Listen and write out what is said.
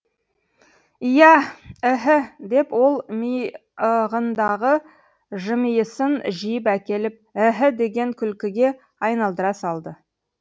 иә іһі деп ол миығындағы жымиысын жиып әкеліп іһі деген күлкіге айналдыра салды